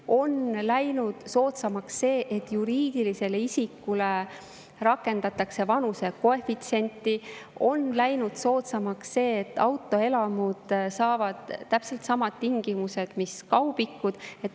On läinud soodsamaks see, et juriidilise isiku sõiduki puhul rakendatakse vanusekoefitsienti, on läinud soodsamaks see, et autoelamud saavad täpselt samad tingimused, mis kaubikud.